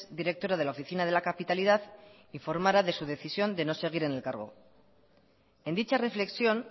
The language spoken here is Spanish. directora de la oficina de la capitalidad informara de su decisión de no seguir en el cargo en dicha reflexión